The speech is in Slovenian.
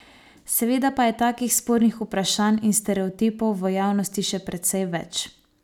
Seveda pa je takih spornih vprašanj in stereotipov v javnosti še precej več.